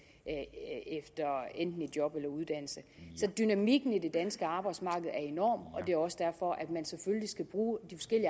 enten job eller uddannelse så dynamikken i det danske arbejdsmarked er enorm og det er også derfor at man selvfølgelig skal bruge de